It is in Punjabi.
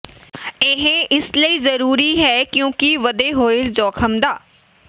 ਇਹ ਇਸ ਲਈ ਜ਼ਰੂਰੀ ਹੈ ਕਿਉਂਕਿ ਵਧੇ ਹੋਏ ਜੋਖਮ ਦਾ